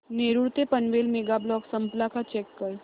नेरूळ ते Panvel mega block संपला का चेक कर